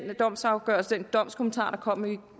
domsafgørelse den domskommentar der kom i